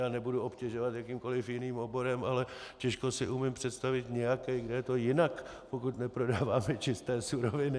Já nebudu obtěžovat jakýmkoliv jiným oborem, ale těžko si umím představit nějaký, kde je to jinak, pokud neprodáváme čisté suroviny.